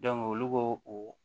olu b'o o